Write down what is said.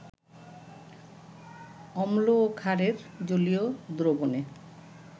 অম্ল ও ক্ষারের জলীয় দ্রবণে